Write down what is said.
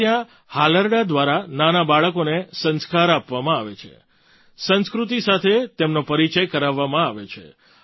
આપણે ત્યાં હાલરડાં દ્વારા નાનાં બાળકોને સંસ્કાર આપવામાં આવે છે સંસ્કૃતિ સાથે તેમનો પરિચય કરાવવામાં આવે છે